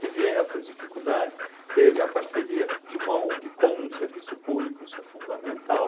Teve essas dificuldades, teve a parceria de uma Ong com um serviço público, isso é fundamental.